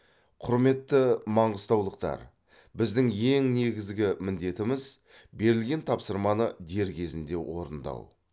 құрметті маңғыстаулықтар біздің ең негізі міндетіміз берілген тапсырманы дер кезінде орындау